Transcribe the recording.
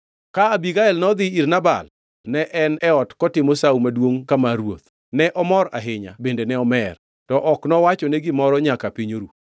Ka Abigael nodhi ir Nabal ne en e ot kotimo Sawo maduongʼ ka mar ruoth. Ne omor ahinya bende ne omer. To ok nowachone gimoro nyaka piny noru.